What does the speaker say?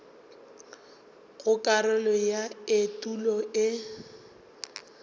go karolo ya etulo e